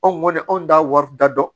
Anw kɔni anw t'a wari da dɔn